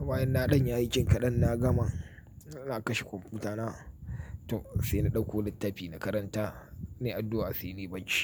bayan na ɗan yin aikin kaɗan na gama. Ina kashe kwanfuta na, to sai na dauko littafi na karanta nayi addu'a sai nayi bacci.